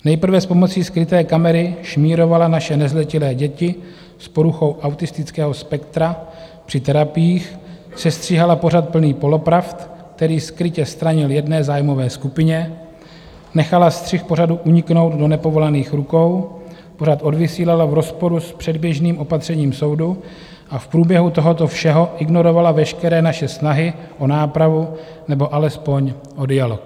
Nejprve s pomocí skryté kamery šmírovala naše nezletilé děti s poruchou autistického spektra při terapiích, sestříhala pořad plný polopravd, který skrytě stranil jedné zájmové skupině, nechala střih pořadu uniknout do nepovolaných rukou, pořad odvysílala v rozporu s předběžným opatřením soudu a v průběhu tohoto všeho ignorovala veškeré naše snahy o nápravu nebo alespoň o dialog.